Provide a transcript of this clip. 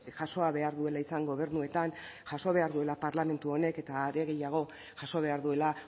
jasoa behar duela izan gobernuetan jasoa behar duela parlamentu honek eta are gehiago jaso behar duela